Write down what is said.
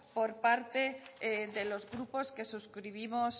por parte de los grupos que suscribimos